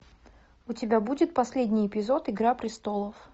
у тебя будет последний эпизод игра престолов